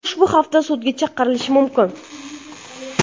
U ushbu haftada sudga chaqirilishi mumkin.